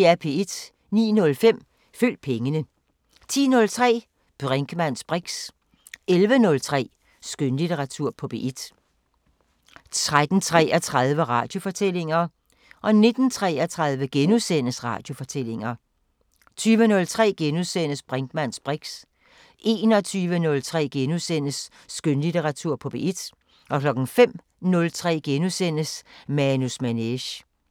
09:05: Følg pengene 10:03: Brinkmanns briks 11:03: Skønlitteratur på P1 13:33: Radiofortællinger 19:33: Radiofortællinger * 20:03: Brinkmanns briks * 21:03: Skønlitteratur på P1 * 05:03: Manus Manege *